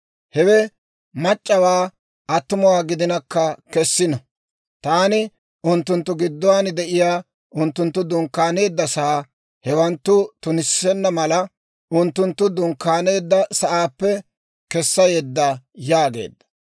Hewe mac'c'awaa attumawaa gidinakka kessino. Taani unttunttu gidduwaan de'iyaa unttunttu dunkkaaneeddasaa hewanttu tunissenna mala, unttunttu dunkkaaneedda sa'aappe kessa yedda» yaageedda.